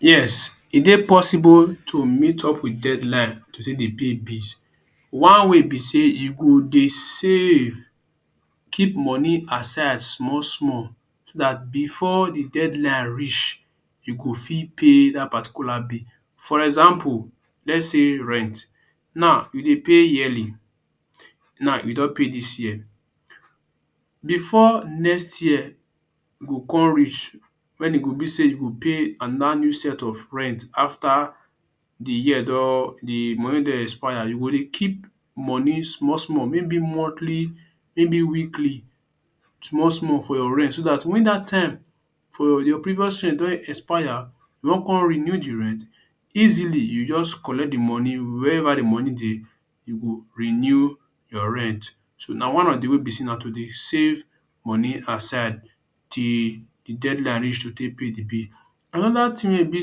Yes, e dey possible to meet up wit deadline to take dey pay bills. One way be sey you go dey save, keep money aside small small so dat before de deadline reach you go fit pay dat particular bill. For example let's say rent. Now, you dey pay yearly. Now you don pay dis year. Before next year go come reach wen e go be sey you go pay another new set of rent after de year don, de money don expire, you go dey keep money small small. Maybe monthly, maybe weekly small small for your rent so dat wen dat time for your previous rent don expire you wan come renew de rent easily. You just collect de money wherever de money dey, you go renew your rent. So na one of de way be say na to dey save money aside till de deadline reach to take pay de bill. Another thing wey e be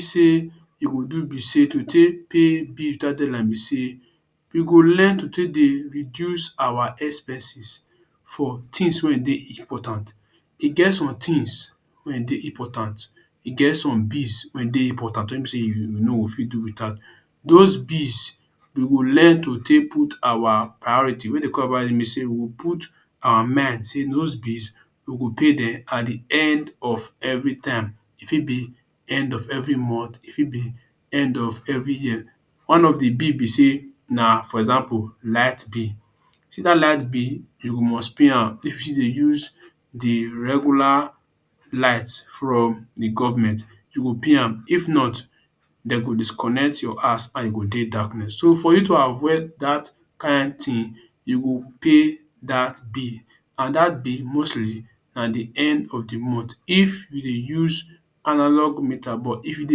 sey you go do be sey to take pay bill deadline be say we go learn to take dey reduce our expenses for things wey e dey important. E get some things wey e dey important. E get some bills wey e dey important wey be sey you you no go fit do without. Those bills, we go learn to take put our priority we put our mind sey those bills we go pay dem at de end of every time. E fit be end of every month, e fit be end of every year. One of de bill be sey na for example light bill. You see dat light bill, you must pay am if you still dey use de regular light from de government. You go pay am. If not, dem go disconnect your house and you go dey darkness. So for you to avoid dat kain thing you go pay dat bill and dat bill mostly na the end of de month if you dey use analog meter but if you dey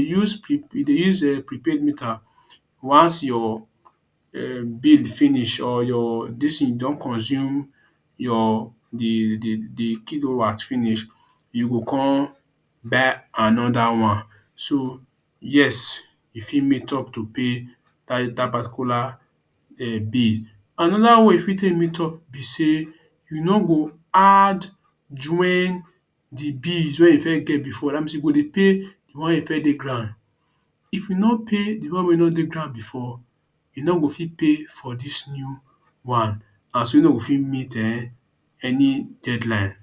use If you dey use um prepaid meter once your um finish, or your dis thing don consume your de de de kilowatts finish, you go con buy another one. So yes, you fit meet up to pay dat dat particular um bill. Another way you fit take meet up be sey you no go add join de bills wey you first get before. Dat mean sey you go dey pay d one wey first dey ground. If no pay de one wey don dey ground before, you no go fit pay for dis new one and so you no go fit meet any deadline.